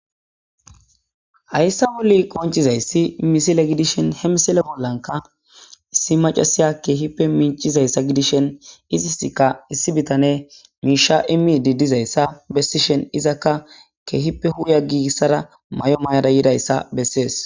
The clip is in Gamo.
hayssa woli qonchizayssi misile gidishen hemisile bollanka issi macasiya keehippe minchizayssa gidishen iziska issi bitane miisha imi diddizayssa bessishen izakka keehippe huuya giigissara may7o may7ada yidayssa bessees